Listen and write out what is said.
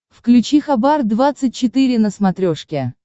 включи хабар двадцать четыре на смотрешке